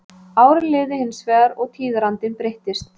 Árin liðu hins vegar og tíðarandinn breyttist.